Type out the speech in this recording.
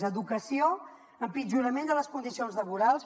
a educació empitjorament de les condicions laborals